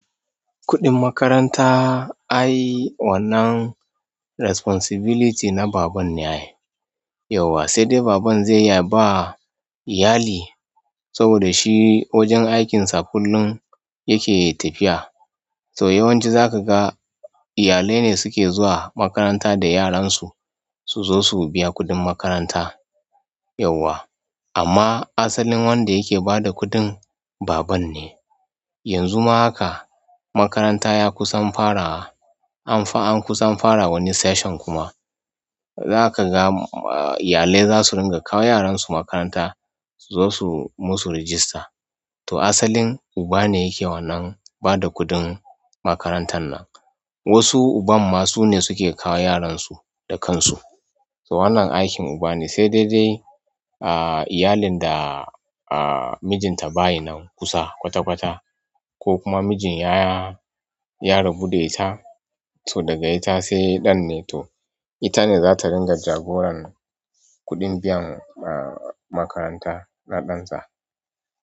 Kuɗin makaranta ai wannan responsibility na babanne ai. Yawwa saidai baban zai iya ba iyali saboda shi wajen aikinsa kullum yake tafiya to yawanci zaka ga iyalai ne suke zuwa makaranta da yaran su, su zo su biya kuɗin makaranta yauwa. Amma asalin wanda yake bada kuɗin baban ne. Yanzu ma haka makaranta ya kusan fara, anfa an kusan fara wani session kuma. Zaka ga iyalai zasu ringa kawo yaran su makaranta su zo su musu register. To asalin uba ne yake wannan bada kuɗin makarantan nan. Wasu uban ma sune suke kawo yaran su da kansu. To wannan aikin uba ne sai dai dai a iyalin da mijinta baya nan kusa kwata kwata ko kuma mijin ya, ya rabu da ita, to daga ita sai ɗan ne, to ita ne za ta ringa jagoran kuɗin biyan makaranta na ɗan ta.